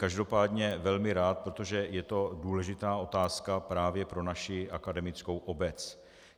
Každopádně velmi rád, protože je to důležitá otázka právě pro naši akademickou obec.